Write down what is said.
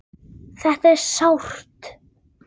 Þetta er sárt.